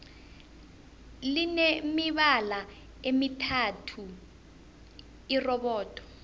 line mibala emithathu irobodo